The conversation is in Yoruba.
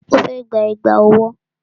Ó fẹ́ gba Ẹ̀gbá ọwọ́